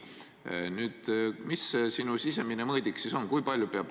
Mis see sinu sisemine mõõdik siis on?